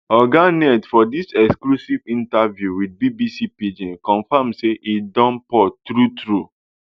oga ned for dis exclusive interview wit bbc pidgin confam say im don port truetrue